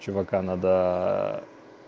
чувака надо